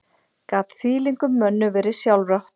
Gat þvílíkum mönnum verið sjálfrátt?